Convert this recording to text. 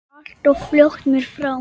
Allt of fljótt mér frá.